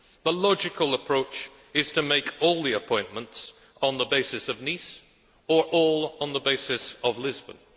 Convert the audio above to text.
The logical approach is to make all the appointments on the basis of Nice or all on the basis of Lisbon.